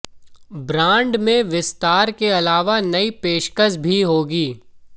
brand में विस्तार के अलावा नई पेशकश भी होगी